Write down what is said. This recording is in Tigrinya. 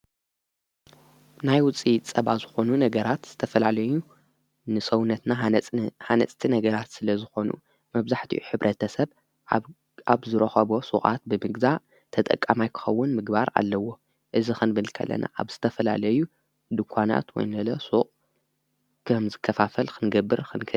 ናይ ውፂኢት ጸባ ዝኾኑ ነገራት ዝተፈላለዩ ንሰውነትና ሃነጽቲ ነገራት ስለ ዝኾኑ መብዛሕቲዩ ኅብረተሰብ ኣብ ዝረኸቦ ሥዓት ብምግዛ ተጠቃማይ ክኸውን ምግባር ኣለዎ እዝ ኽንብልከለና ኣብ ዝተፈላለዩ ድኳናት ወይንለ ሱቃት ከም ዝከፋፈል ክንገብር ኽንክ።